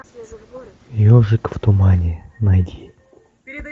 ежик в тумане найди